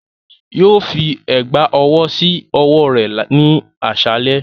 Yoo fi ẹgba ọwọ si ọwọ rẹ ni aṣalẹ.